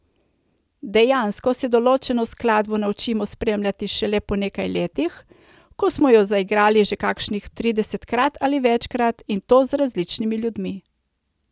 Dejansko se določeno skladbo naučimo spremljati šele po nekaj letih, ko smo jo zaigrali že kakšnih tridesetkrat ali večkrat, in to z različnimi ljudmi.